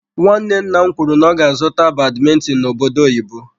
Nwanne nna m kwuru n'ọga azụtara badmintin n'obodo oyibo.